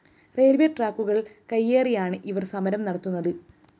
railways ട്രാക്കുകള്‍ കയ്യേറിയാണ് ഇവര്‍ സമരം നത്തുന്നത്